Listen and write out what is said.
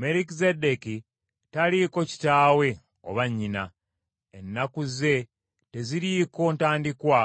Merukizeddeeki taliiko kitaawe oba nnyina. Ennaku ze teziriiko ntandikwa